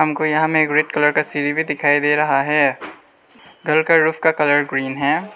हमको यहां में एक रेड कलर का सीढ़ी भी दिखाई दे रहा है घर का रूफ का कलर ग्रीन है।